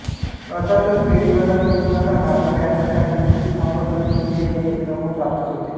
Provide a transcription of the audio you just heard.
अर्थातच बेरीज वजाबाकी गुणाकार भागाकार यांसारख्या मूलभूत अंकगणिती क्रिया येणे क्रमप्राप्तच होते